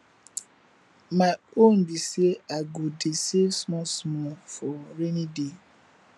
my own be say i go dey save small small for rainy day